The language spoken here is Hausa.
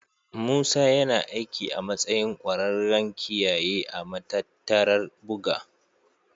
Musa yana aiki a matsayin ƙwararren kiyaye a matattarar buga.